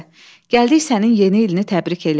Gəldik sənin yeni ilini təbrik eləyək.